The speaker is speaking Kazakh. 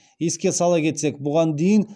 еске сала кетсек бұған дейін